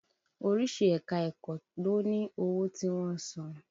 Oríṣi ẹ̀ka-ẹ̀kọ́ ló ní owó tí wọ́n ń san.